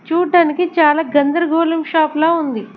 చూడ్డానికి చాలా గందరగోళం షాప్ ల ఉంది.